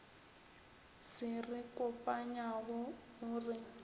se re kopanyago o re